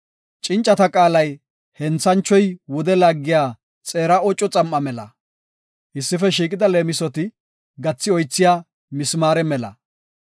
Cincata qaalay henthanchoy wude laagiya xeera oco xam7a mela. Issife shiiqida leemisoti gathi oythiya mismaare mela.